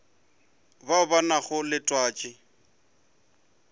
bao ba nago le twatši